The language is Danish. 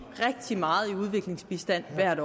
rigtig meget i udviklingsbistand hvert